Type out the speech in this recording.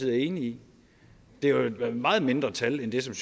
er enig i det er et meget mindre tal end det